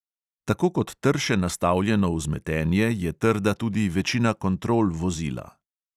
Tako kot trše nastavljeno vzmetenje, je trda tudi večina kontrol vozila.